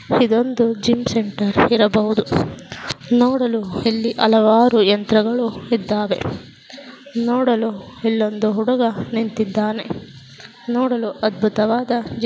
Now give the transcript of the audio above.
ಇದೊಂದು gym centre ಇರಬಹುದು ನೋಡಲು ಇಲ್ಲಿ ಹಲವಾರು ಯಂತ್ರಗಳು ಇಧವೇ. ನೋಡಲು ಇಲ್ಲಿ ಒಂದು ಹುಡುಗ ನಿಂತಿಧಾನೆ ನೋಡಲು ಅದ್ಬುತವಾದ--